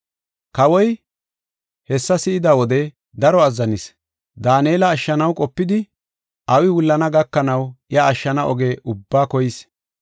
Kawoy hessa si7ida wode daro azzanis; Daanela ashshanaw qopidi, awi wullana gakanaw iya ashshana oge ubbaa koyis.